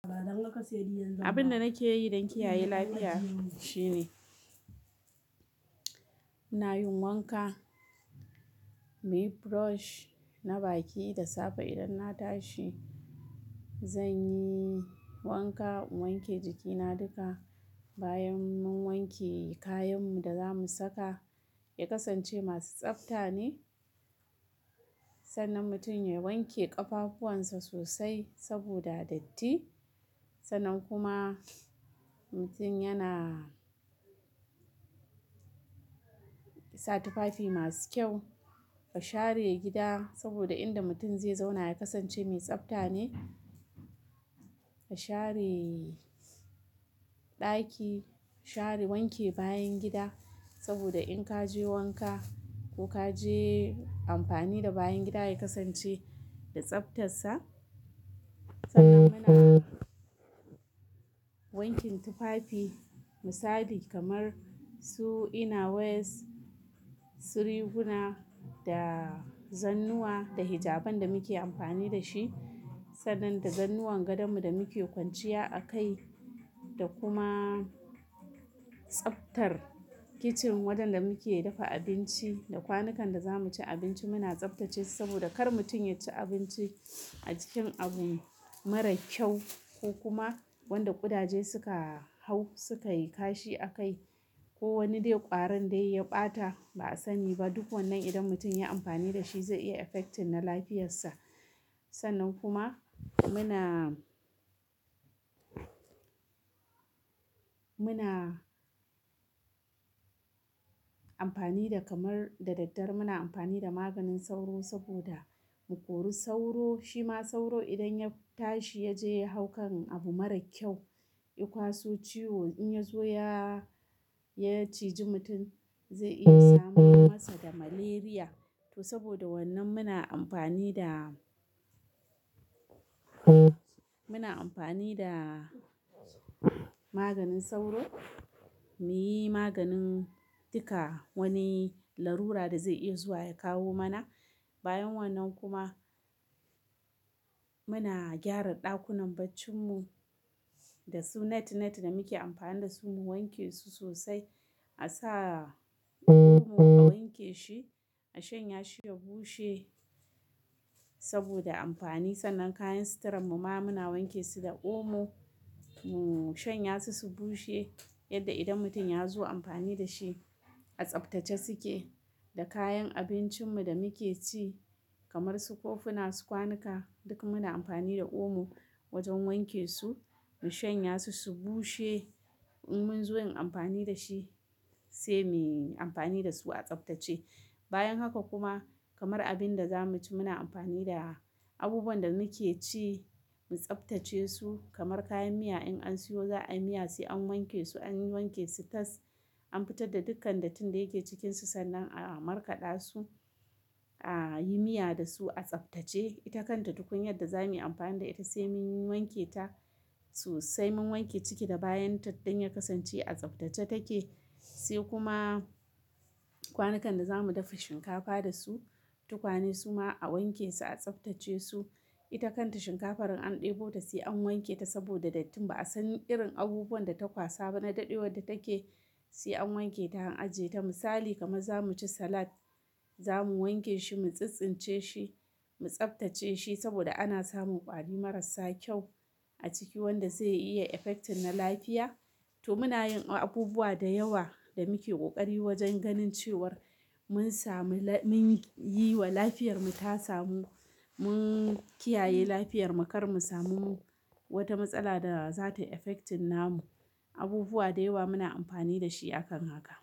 Abin da nake yi don kiyaye lafiya shine, ina yin wanka, muyi brush na baki da safe idan na tashi. Zanyi wanka in wanke jikina duka. Bayan mun wanke kayan mu da zamu saka ya kasance masu tsafta ne. Sannan mutum ya wanke ƙafafuwan sa sosai saboda datti. Sannan kuma mutum yana sa tufafi masu kyau. A share gida saboda inda mutum zai zauna ya kasance mai tsafta ne. A share ɗaki, share wanke bayan gida. Saboda in ka je wanka ko ka je amfani da bayan gida ya kasance da tsaftarsa. Sannan kuma wanke tufafi misali kamar su inner wears, su riguna da zannuwa da hijaban da muke amfani dashi. Sannan da zannuwan gadon mu da muke kwanciya a kai. Da kuma tsaftar kicin wajen da muke dafa abinci da ƙwanukan da zamu ci abinci muna tsaftace su saboda kar mutum ya ci abinci a cikin abu marar ƙyau ko kuma wanda ƙudaje suka hau suka yi kashi a kai. Ko wani dai ƙwarin dai ya ɓata ba'a sani ba. Duk wannan idan mutum ya amfani dashi zai iya affecting na lafiyarsa. Sannan kuma muna muna amfani da kamar, da daddare muna amfani da maganin sauro saboda mu kori sauro. Shima sauro idan ya tashi yaje ya hau kan abu marar ƙyau, ya kwaso ciwo in yazo ya, ya ciji mutum zai iya samar masa da malaria. To saboda wannan muna amfani da, muna amfani da maganin sauro. Muyi maganin duka wani larura da zai iya zuwa ya kawo mana. Bayan wannan kuma muna gyara ɗakunan barcin mu dasu net net da muke amfani dasu mu wanke su sosai. A sa omo a wanke shi, a shanya shi ya bushe saboda amfani. Sannan kayan sitiran mu ma muna wanke su da omo. Mu shanya su, su bushe yadda idan mutum yazo amfani dashi a tsaftace suke. Da kayan abincin mu da muke ci kamar su kofuna, kwanuka duk muna amfani da omo wajen wanke su, mu shanya su, su bushe. In munzo yin amfani dashi sai muyi amfani dasu a tsabtace. Bayan haka kuma kamar abinda zamu ci muna amfani da abubuwan da muke ci mu tsaftace su kamar kayan miya in an siyo za'a yi miya sai an wanke sai an wanke su tas. An fitar da dukkan dattin da yake cikinsu sannan a markaɗa su, ayi miya dasu a tsaftace. Ita kanta tukunyar da za muyi amfani da ita sai mun wanke ta sosai. Mun wanke ciki da bayanta don ya kasance a tsaftace take. Sai kuma ƙwanukan da zamu dafa shinkafa dasu, tukwane suma a wanke su, a tsaftace su. Ita kanta shinkafar in an ɗebota sai an wanke ta saboda dattin ba'a san irin abubuwan data ƙwasa ba na daɗewar da take sai an wanke ta an ajiye ta. Misali kamar zamu ci salad, zamu wanke shi mu tsintsince shi, mu tsaftace shi saboda ana samun ƙwari marassa ƙyau a ciki wanda zai iya affecting na lafiya. To muna yin abubuwa da yawa da muke ƙoƙari wajen ganin cewar mun sami, mun yiwa lafiyarmu ta samu, mun kiyaye lafiyar mu karmu samu wata matsala da zata affecting namu. Abubuwa da yawa muna amfani da shi akan haka.